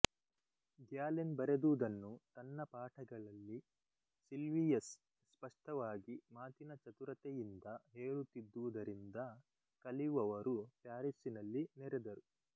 Galen ಬರೆದುದನ್ನು ತನ್ನ ಪಾಠಗಳಲ್ಲಿ ಸಿಲ್ವಿಯಸ್ ಸ್ಪಷ್ಟವಾಗಿ ಮಾತಿನ ಚತುರತೆಯಿಂದ ಹೇಳುತ್ತಿದ್ದುದರಿಂದ ಕಲಿಯುವವರು ಪ್ಯಾರಿಸ್ಸಿನಲ್ಲಿ ನೆರೆದರು